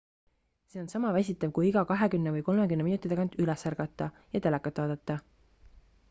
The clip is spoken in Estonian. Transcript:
see on sama väsitav kui iga kahekümmne või kolmekümne minuti tagant üles ärgata ja telekat vaadata